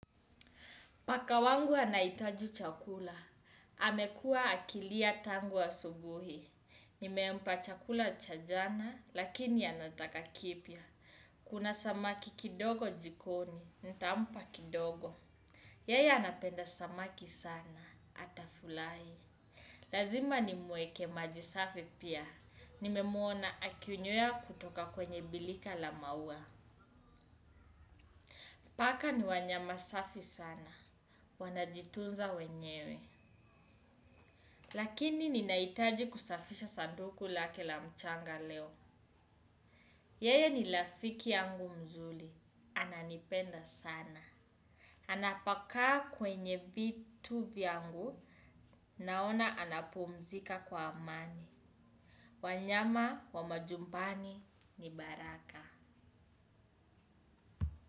Paka wangu anahitaji chakula, amekuwa akilia tangu asubuhi. Nimempa chakula cha jana, lakini anataka kipya. Kuna samaki kidogo jikoni, nitampa kidogo. Yeye anapenda samaki sana, atafurahi. Lazima nimuekee majisafi pia, nimemuona akinywea kutoka kwenye birika la maua. Paka ni wanyama safi sana, wanajitunza wenyewe. Lakini ninahitaji kusafisha sanduku lake la mchanga leo. Yeye ni rafiki yangu mzuri. Ananipenda sana. Anapokaa kwenye vitu vyangu. Naona anapumzika kwa amani. Wanyama wa majumbani ni baraka.